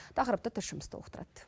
тақырыпты тілшіміз толықтырады